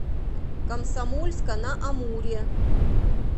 комсомольска на амуре